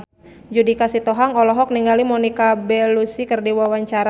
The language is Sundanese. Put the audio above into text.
Judika Sitohang olohok ningali Monica Belluci keur diwawancara